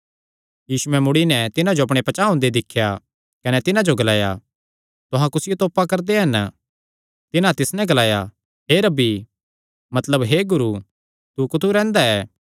यीशुयैं मुड़ी नैं तिन्हां जो अपणे पचांह़ ओंदे दिख्या कने तिन्हां जो ग्लाया तुहां कुसियो तोपा करदे हन तिन्हां तिस नैं ग्लाया हे रब्बी मतलब हे गुरू तू कुत्थू रैंह्दा ऐ